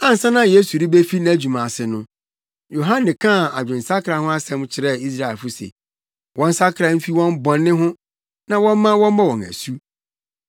Ansa na Yesu rebefi nʼadwuma ase no, Yohane kaa adwensakra ho asɛm kyerɛɛ Israelfo se, wɔnsakra mfi wɔn bɔne ho na wɔmma wɔmmɔ wɔn asu.